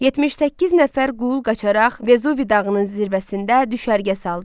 78 nəfər qul qaçaraq Vezuvi dağının zirvəsində düşərgə saldı.